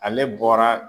Ale bɔra